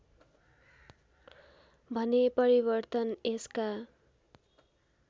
भने परिवर्तन यसका